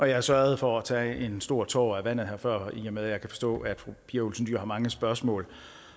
jeg sørgede for at tage en stor tår af vandet her før i og med at jeg kan forstå at fru pia olsen dyhr har mange spørgsmål